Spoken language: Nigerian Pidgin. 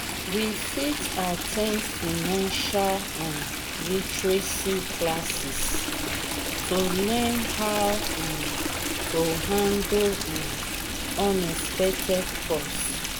we fit at ten d financial um literacy classes to learn how um to handle um unexpected costs.